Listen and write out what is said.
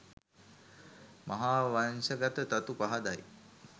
මහාවංශගත තතු පහදයි.